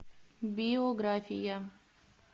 биография